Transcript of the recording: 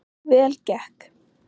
Vel gekk